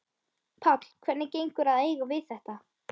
Páll: Hvernig gengur að eiga við þetta?